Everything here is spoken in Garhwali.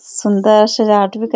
सुंदर शजावट बि कर --